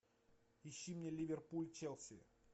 ищи мне ливерпуль челси